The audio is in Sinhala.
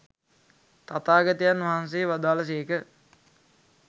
තථාගතයන් වහන්සේ වදාළ සේක.